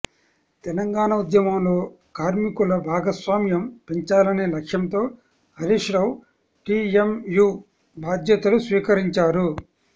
తెలంగాణ ఉద్యమంలో కార్మికుల భాగస్వామ్యం పెంచాలనే లక్ష్యంతో హరీశ్ రావు టీఎంయు బాధ్యతలు స్వీకరించారు